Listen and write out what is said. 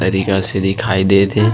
तरीका से दिखाई देत हे।